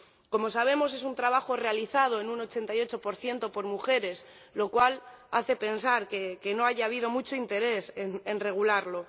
Como sabemos, es un trabajo realizado en un 88 por mujeres, lo cual hace pensar que no haya habido mucho interés en regularlo.